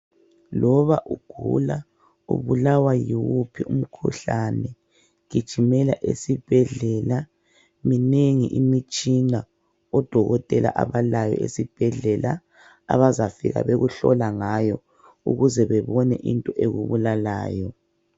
Loba ugula ubulawa yiwuphi umkhuhlane gijimela esibhedlela, minengi imitshina odokotela abalayo esibhedlela abazafika bekuhlola ngayo ukuze bebone into ekubulalayo.